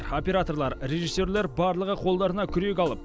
операторлар режиссерлер барлығы қолдарына күрек алып